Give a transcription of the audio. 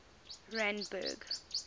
randburg